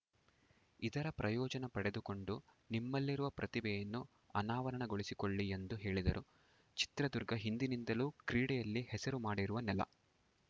ಇದರ ಪ್ರಯೋಜನ ಪಡೆದುಕೊಂಡು ನಿಮ್ಮಲ್ಲಿರುವ ಪ್ರತಿಭೆಯನ್ನು ಅನಾವರಣಗೊಳಿಸಿಕೊಳ್ಳಿ ಎಂದು ಹೇಳಿದರು ಚಿತ್ರದುರ್ಗ ಹಿಂದಿನಿಂದಲೂ ಕ್ರೀಡೆಯಲ್ಲಿ ಹೆಸರು ಮಾಡಿರುವ ನೆಲ